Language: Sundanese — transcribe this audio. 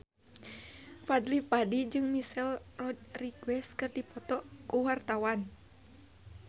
Fadly Padi jeung Michelle Rodriguez keur dipoto ku wartawan